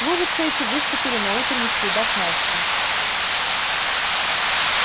лужицы эти выступили на утренних следах насти